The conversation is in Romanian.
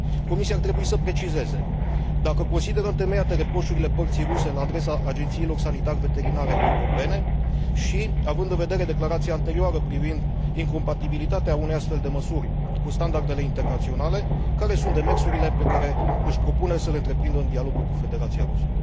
Comisia ar trebui să precizeze dacă consideră întemeiate reproșurile părții ruse la adresa agențiilor sanitar veterinare europene și, având în vedere declarația anterioară privind incompatibilitatea unei astfel de măsuri cu standardele internaționale, care sunt demersurile pe care își propune să le întreprindă în dialogul cu Federația Rusă.